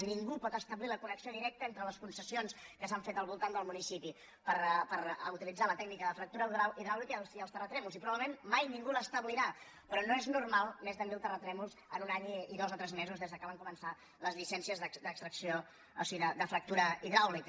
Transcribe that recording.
i ningú pot establir la connexió directa entre les concessions que s’han fet al voltant del municipi per utilitzar la tècnica de fractura hidràulica i els terratrèmols i probablement mai ningú l’establirà però no és normal més de mil terratrèmols en un any i dos o tres mesos des que van començar les llicències d’extracció o sigui de fractura hidràulica